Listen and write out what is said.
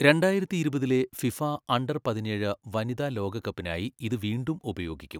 രണ്ടായിരത്തിഇരുപതിലെ FIFA under പതിനേഴ് വനിതാ ലോകകപ്പിനായി ഇത് വീണ്ടും ഉപയോഗിക്കും.